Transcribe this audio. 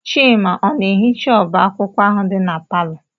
Chima ọ na-ehicha ọba akwụkwọ ahụ dị na palọ?